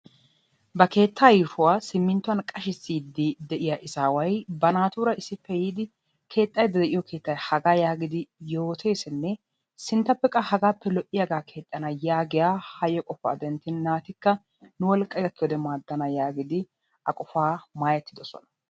ba keetta yuushuwa simmintuiwan qachisiidi de'iya izaaway banaatuura issippe yiidi keexxaydda de'iyo keettay hagaa giidi yooteesinne sinttappe qa hagaappe lo'iyaga keettaa keexana yagiya hayo qofaa denttin naatikka nu wolqay gakkiyode maadana yagiidi a qofaa maayetidosona.